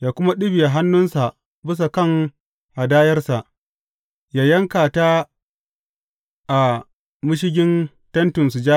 Yă kuma ɗibiya hannunsa bisa kan hadayarsa, yă yanka ta a mashigin Tentin Sujada.